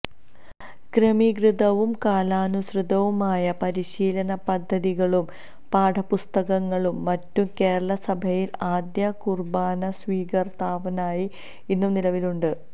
ക്രമീകൃതവും കാലാനുസൃതവുമായ പരിശീലനപദ്ധതികളും പാഠപുസ്തകങ്ങളും മറ്റും കേരളസഭയില് ആദ്യകുര്ബാനസ്വീകരണത്തിനായി ഇന്നു നിലവിലുണ്ട്